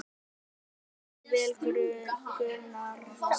Þú stendur þig vel, Gunnharða!